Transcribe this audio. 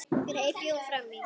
greip Jón fram í.